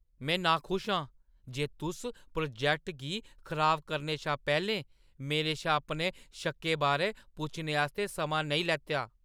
में नाखुश आं जे तुस प्रोजैक्ट गी खराब करने शा पैह्‌लें मेरे शा अपने शक्कें बारै पुच्छने आस्तै समां नेईं लैता।